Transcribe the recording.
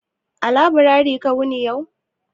A laburare ka wuni ne yau?